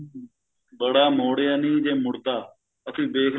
ਬੜਾ ਮੋੜਿਆ ਨੀ ਜੇ ਮੁੜਦਾ ਅਸੀਂ ਦੇਖ